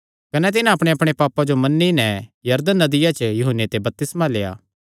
कने तिन्हां अपणेअपणे पापां जो मन्नी नैं यरदन नदिया च यूहन्ने ते बपतिस्मा लेआ